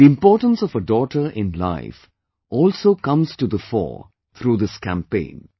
The importance of a daughter in life also comes to the fore through this campaign